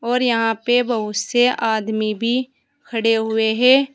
और यहां पे बहुत से आदमी भी खड़े हुए है।